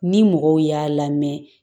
Ni mɔgɔw y'a lamɛn